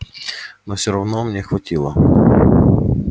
но все равно мне хватило